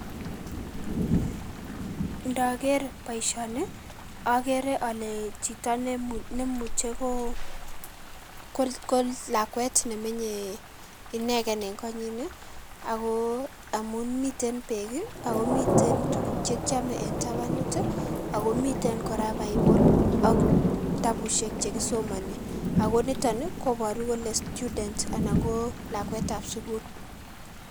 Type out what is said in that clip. Indoker boishoni okeree olee chito nemuche kolakwet nemenye ineken en konyin akoo amuun miten beek akoo miten tukuk chekiome en tabanut ii akoo miten kora bible ak kitabushek chekisomoni akoo niton ii koboruu kolee student anan ko lakwetab sukul.